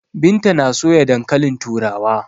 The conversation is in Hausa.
Binta na soya dankalin turawa.